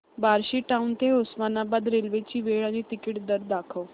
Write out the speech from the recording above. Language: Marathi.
बार्शी टाऊन ते उस्मानाबाद रेल्वे ची वेळ आणि तिकीट दर दाखव